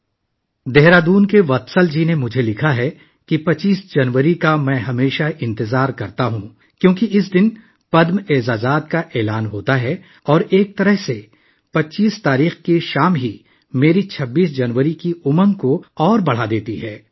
دوستو، دہرادون سے وتسل جی نے مجھے لکھا ہے کہ میں ہمیشہ 25 جنوری کا انتظار کرتا ہوں کیونکہ اس دن پدم ایوارڈز کا اعلان ہوتا ہے اور ایک طرح سے، 25 کی شام 26 جنوری کے لیے میرے جوش و خروش کو بڑھاتی ہے